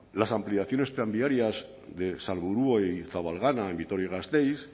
las ampliaciones tranviarias de salburua y zabalgana en vitoria gasteiz